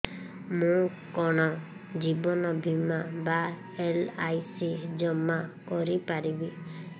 ମୁ କଣ ଜୀବନ ବୀମା ବା ଏଲ୍.ଆଇ.ସି ଜମା କରି ପାରିବି